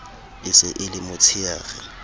e se e le motsheare